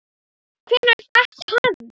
Hvenær datt hann?